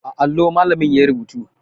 A allo malamin yayi rubutu